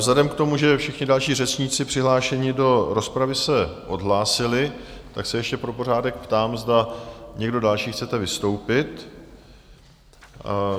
Vzhledem k tomu, že všichni další řečníci přihlášení do rozpravy se odhlásili, tak se ještě pro pořádek ptám, zda někdo další chcete vystoupit?